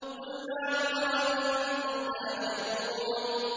قُلْ نَعَمْ وَأَنتُمْ دَاخِرُونَ